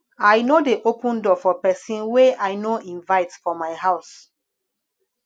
i no dey open door for pesin wey i no invite for my house